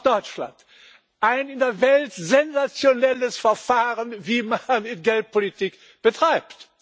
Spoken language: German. Auch Deutschland ein in der Welt sensationelles Verfahren, wie man Geldpolitik betreibt.